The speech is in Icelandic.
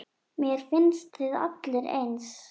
Mér finnst þið allir eins.